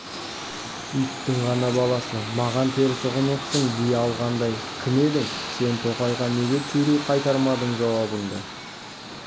иттің ғана баласы маған теріс ұғыныпсың дей алғандай кім едің сен тоқайға неге түйрей қайтармадың жауабыңды